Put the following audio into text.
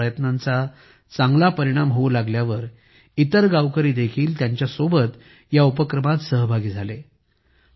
त्यांच्या या प्रयत्नांचा चांगला परिणाम होऊ लागल्यावर इतर गावकरी देखील त्यांच्यासोबत या उपक्रमात सहभागी झाले